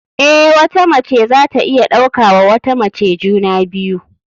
Eh, wata mace zata iya ɗauka wa wata mace juna biyu.